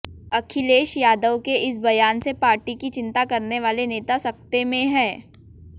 अखिलेश यादव के इस बयान से पार्टी की चिंता करने वाले नेता सकते में हैं